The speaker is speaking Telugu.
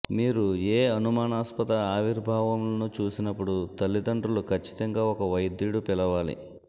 మీరు ఏ అనుమానాస్పద ఆవిర్భావములను చూసినప్పుడు తల్లిదండ్రులు ఖచ్చితంగా ఒక వైద్యుడు పిలవాలి